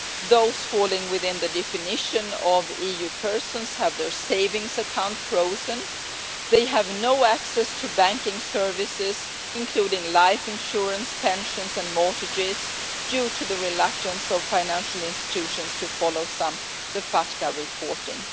Those falling within the definition of US persons have their savings accounts frozen, they have no access to banking services, including life insurance, pensions and mortgages due to the reluctance of financial institutions to follow the FATCA reporting.